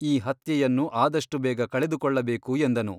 ಈ ಹತ್ಯೆಯನ್ನು ಆದಷ್ಟು ಬೇಗ ಕಳೆದುಕೊಳ್ಳಬೇಕು ಎಂದನು.